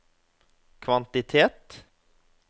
kvantitet